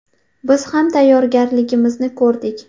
Biz ham tayyorgarligimizni ko‘rdik.